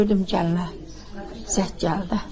Gördüm gəlinə zəng gəldi.